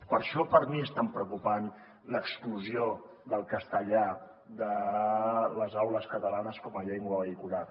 per això per mi és tan preocupant l’exclusió del castellà de les aules catalanes com a llengua vehicular